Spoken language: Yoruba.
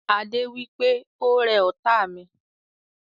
Adé wípé "Ó rẹ ọ́ta mi"